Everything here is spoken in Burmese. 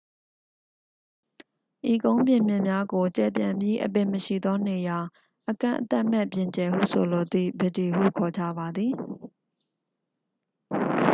"ဤကုန်းပြင်မြင့်များကို ကျယ်ပြန့်ပြီး၊ အပင်မရှိသော နေရာ၊ အကန့်အသတ်မဲ့ ပြင်ကျယ်ဟု ဆိုလိုသည့် "ဗစ်ဒီ" ဟု ခေါ်ကြပါသည်။